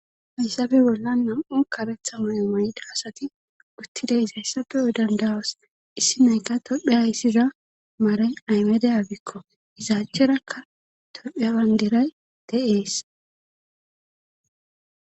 Haysabe bolla nam7u karetha may7o mayda asati guttiday izayssatu yo dandawas issi nayka tophe ayssiza maaray aymede abikko izaacherakka topheya wandiray de7ees